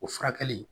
O furakɛli